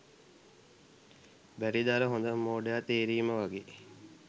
බැරිද අර හොදම මෝඩයා තේරීම වගේ